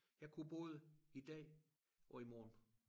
Jeg kunne både i dag og i morgen